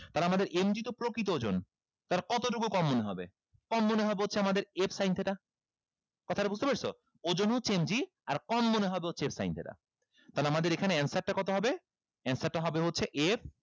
তাহলে আমাদের তো প্রকৃত ওজন তাহলে কতটুকু কম মনে হবে কম মনে হবে হচ্ছে আমাদের f sin theta কথাটা বুঝতে পারছো ওজন হচ্ছে আর কম মনে হবে হচ্ছে f sin theta তাহলে আমাদের এখানে answer টা কত হবে answer টা হবে হচ্ছে f